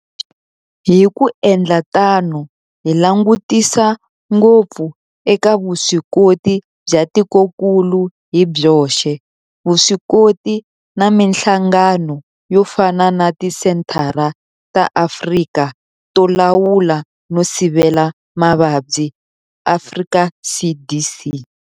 Hi ku endla tano hi langutisa ngopfu eka vuswikoti bya tikokulu hi byoxe, vuswikoti na mihlangano yo fana na Tisenthara ta Afrika to Lawula no Sivela Mavabyi, Afrika CDC.